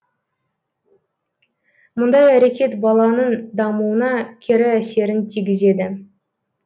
мұндай әрекет баланың дамуына кері әсерін тигізеді